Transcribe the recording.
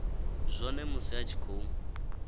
zwone musi a tshi khou